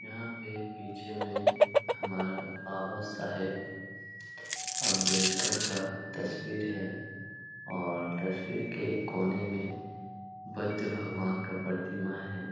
यहाँ पे पीछे में हमारा बाबा साहब अंबेडकर का तस्वीर है और तस्वीर के एक कोने में बुद्ध भगवान का प्रतिमा है।